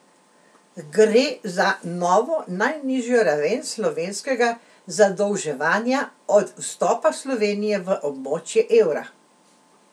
Gre za za novo najnižjo raven slovenskega zadolževanja od vstopa Slovenije v območje evra.